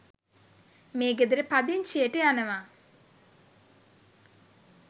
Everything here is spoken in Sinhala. මේ ගෙදර පදිචියට යනවා.